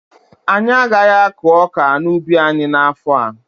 Anyị agaghị akụ ọka n'ubi anyị n'afọ a.